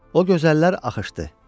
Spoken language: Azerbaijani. O gözəllər axışdı.